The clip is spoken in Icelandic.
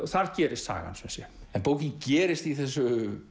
þar gerist sagan sem sé en bókin gerist í þessu